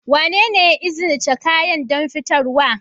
Wanene ya izinice kayan don fitarwa?